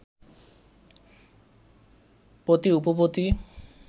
পতি উপপতি